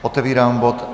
Otevírám bod